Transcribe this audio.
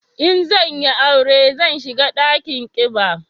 In zan yi aure zan shiga dakin kiba